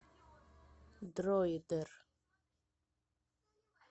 дроидер